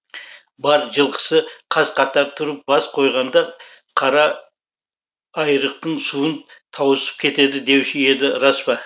бар жылқысы қаз қатар тұрып бас қойғанда қара айрықтың суын тауысып кетеді деуші еді рас па